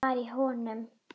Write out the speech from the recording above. Hvað var í honum?